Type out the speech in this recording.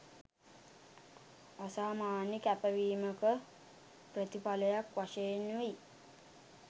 අසාමාන්‍ය කැපවීමක ප්‍රතිඵලයක් වශයෙනුයි